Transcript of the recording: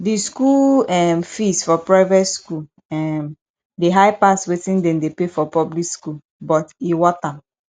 di school um fees for private school um dey high pass wetin dem dey pay for public school but e worth am